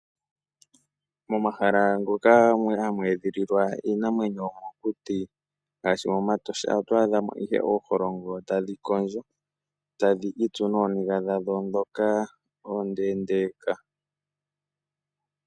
Momahala moka hamu edhililwa iinamwenyo yookuti ngaashi mEtosha oto adha mo oosino tadhi kondjo, tadhi itsu nooniga dhadho ndhoka oondeendeeka.